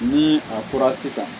Ni a kora sisan